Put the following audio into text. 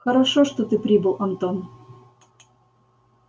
хорошо что ты прибыл антон